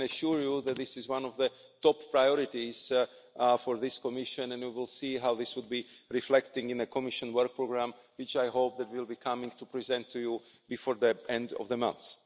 I can assure you that this is one of the top priorities for this Commission, and we will see how this will be reflected in the Commission work programme which I hope we will be coming to present to you before the end of the month.